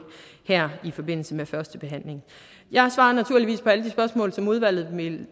her i forbindelse med førstebehandlingen jeg svarer naturligvis på alle de spørgsmål som udvalget